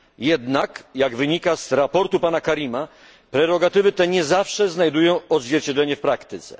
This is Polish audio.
Jednak, jak wynika ze sprawozdania pana Karima, prerogatywy te nie zawsze znajdują odzwierciedlenie w praktyce.